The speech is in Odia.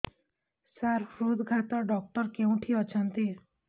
ସାର ହୃଦଘାତ ଡକ୍ଟର କେଉଁଠି ଅଛନ୍ତି